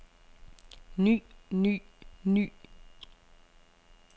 ny ny ny